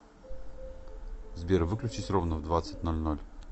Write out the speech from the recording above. сбер выключись ровно в двадцать ноль ноль